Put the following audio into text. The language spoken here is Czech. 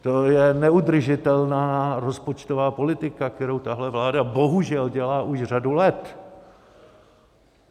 To je neudržitelná rozpočtová politika, kterou tahle vláda bohužel dělá už řadu let.